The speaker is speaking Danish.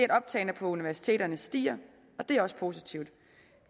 optaget på universiteterne stiger og det er også positivt